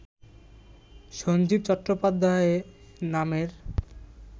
সঞ্জীব চট্টোপাধ্যায় নামের